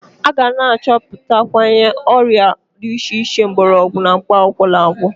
A ga na-achọputwanye ọrịa dị iche iche mgbọrọgwu na mkpakwụkwọ na-agwọ.